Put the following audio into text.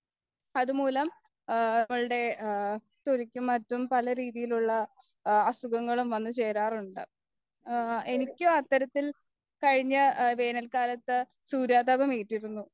അതുമൂലം നമ്മൾടെ തൊലിക്കും മറ്റും പലരീതിയിലുള്ള അസുഖങ്ങളും വന്നുചേരാറുണ്ട് എനിക്ക് അത്തരത്തിൽ കഴിഞ്ഞ വേനൽക്കാലത്ത് സൂര്യാഘാതം ഏറ്റിരുന്നു